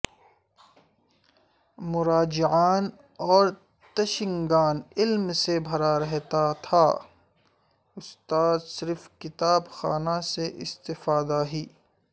مراجعان اور تشنگان علم سے بھرا رہتا تھا استاد صرف کتاب خانہ سے استفادہ ہی